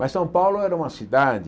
Mas São Paulo era uma cidade...